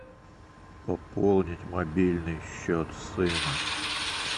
пополнить мобильный счет сына